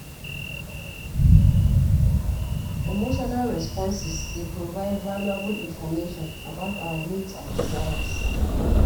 Emotional responses dey provide valuable information about our needs and desires.